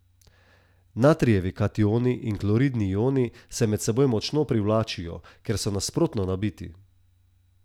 Natrijevi kationi in kloridni ioni se med seboj močno privlačijo, ker so nasprotno nabiti.